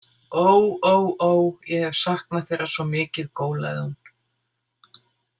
Óóó, ég hef saknað þeirra svo mikið, gólaði hún.